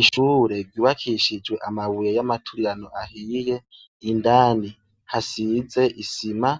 Ishure ryubakishijwe amabuye yamaturirano ahiye indani hasize isima